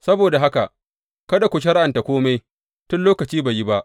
Saboda haka, kada ku shari’anta kome tun lokaci bai yi ba.